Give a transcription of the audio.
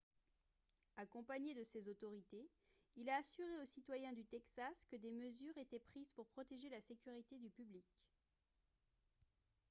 accompagné de ces autorités il a assuré aux citoyens du texas que des mesures étaient prises pour protéger la sécurité du public